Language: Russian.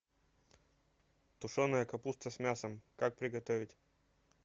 тушеная капуста с мясом как приготовить